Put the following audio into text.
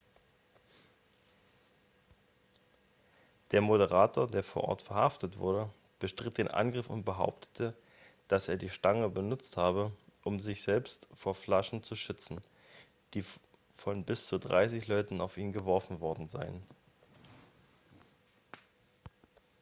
der moderator der vor ort verhaftet wurde bestritt den angriff und behauptete dass er die stange benutzt habe um sich selbst vor flaschen zu schützen die von bis zu dreißig leuten auf ihn geworfen worden seien